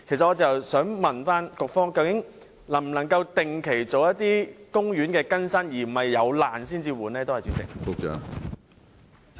我想問，究竟當局能否定期更新公園的設施，而非要待設施出現破爛始更換呢？